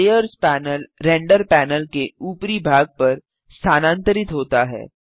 layers panel render panel के ऊपरी भाग पर स्थानांतरित होता है